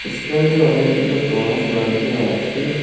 স্ট্যান্ডে অনেকগুলি বাস দাঁড়িয়ে আছে।